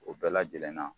O bɛɛ lajɛlen na